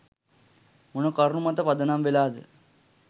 මොන කරුණු මත පදනම් වෙලාද.